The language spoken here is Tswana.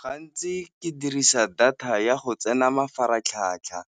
Gantsi ke dirisa data ya go tsena mafaratlhatlha